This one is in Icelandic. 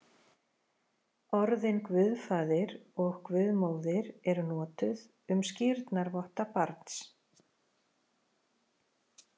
Orðin guðfaðir og guðmóðir eru notuð um skírnarvotta barns.